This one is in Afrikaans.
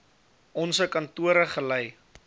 onse kantore gelei